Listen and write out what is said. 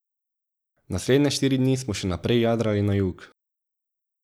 Naslednje štiri dni smo še naprej jadrali na jug.